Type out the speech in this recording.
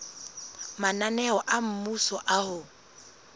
mananeo a mmuso a ho